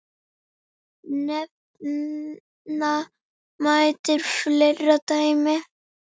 Nefna mætti fleiri dæmi.